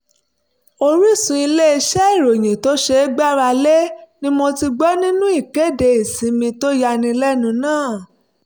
orísun ilé-iṣẹ́ ìròyìn tó ṣeé gbára lé ni mo ti gbọ́ nípa ìkéde ìsinmi tó yánilẹ́nu náà